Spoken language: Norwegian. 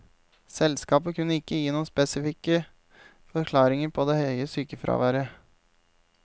Selskapet kunne ikke gi noen selskapsspesifikke forklaringer på det høye sykefraværet.